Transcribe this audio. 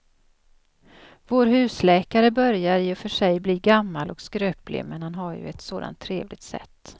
Vår husläkare börjar i och för sig bli gammal och skröplig, men han har ju ett sådant trevligt sätt!